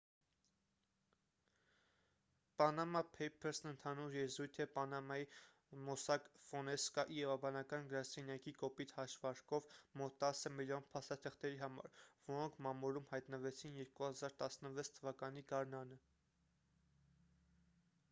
«պանամա փեյփըրս»-ն ընդհանուր եզրույթ է պանամայի «մոսակ ֆոնսեկա» իրավաբանական գրասենյակի կոպիտ հաշվարկով մոտ տասը միլիոն փաստաթղթերի համար որոնք մամուլում հայտնվեցին 2016 թ.-ի գարնանը:»